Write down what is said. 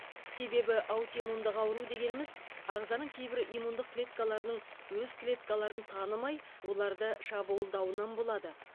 себебі аутимундық ауру дегеніміз ағзаның кейбір иммундық клеткаларының өз клеткаларын танымай оларды шабуылдауынан болады